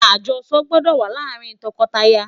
ajoso gbọdọ wà làrin loko laya